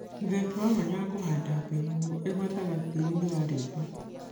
Mũthemba wa mwanga wa kĩbandemenu ĩgwataga tĩĩri-inĩ wa rĩũmba